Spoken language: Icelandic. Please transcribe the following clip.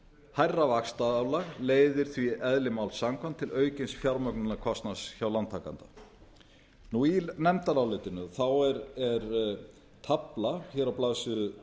hærra vaxtaálag leiðir því eðli málsins samkvæmt til aukins fjármögnunarkostnaðar hjá lántakanda í nefndarálitinu er tafla á blaðsíðu